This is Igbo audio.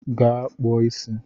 Ga kpụọ isi!